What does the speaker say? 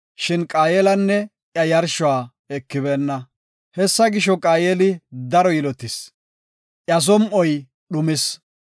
Shin Qaayelanne iya yarshuwa ekibeenna. Hessa gisho, Qaayeli daro yilotis; iya som7oy dhumis.